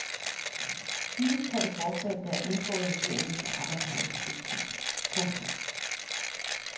Disse tre forslag bør indgå i regeringens arbejdsmarkedspolitik. punktum